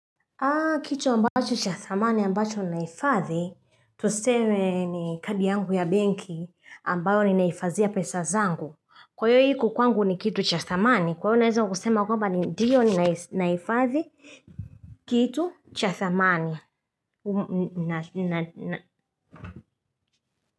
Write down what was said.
Aa kitu ambacho cha thamani ambacho naifadhi tusewe ni kadi yangu ya bank ambayo ni naifazia pesa zangu kwayo hiku kwangu ni kitu cha thamani kwayo naweza kusema kwamba ni ndiyo naifadhi kitu cha thamani na na.